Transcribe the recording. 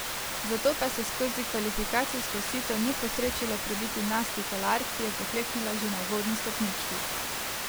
Zato pa se skozi kvalifikacijsko sito ni posrečilo prebiti Nastji Kolar, ki je pokleknila že na uvodni stopnički.